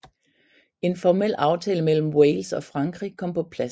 En formel aftale mellem Wales og Frankrig kom på plads